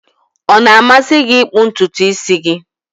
Ọ na-amasị gị ịkpụ ntutu isi gị?